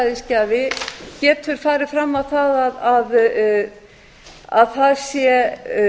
eggjagjafi eða sæðisgjafi getur farið fram á það að það sé